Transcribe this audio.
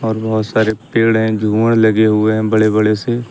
और बहुत सारे पेड़ हैं झूमर लगे हुए हैं बड़े बड़े से।